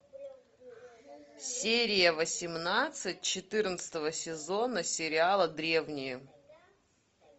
серия восемнадцать четырнадцатого сезона сериала древние